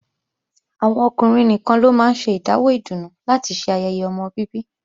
Àwọn ọkùnrin nìkan ló máa ń ṣe ìdáwó ìdùnnú láti ṣe ayẹyẹ ọmọ bíbí